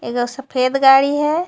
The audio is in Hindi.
एक आ सफ़ेद गाडी हे.